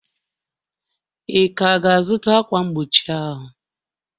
Ị ka ga-azụta ákwà mgbochi ahụ?